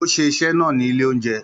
Ó ṣe iṣẹ́ náà ní ilé-oúnjẹ.